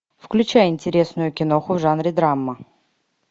включай интересную киноху в жанре драма